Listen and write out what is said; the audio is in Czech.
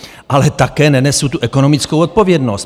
Ale také nenesu tu ekonomickou odpovědnost.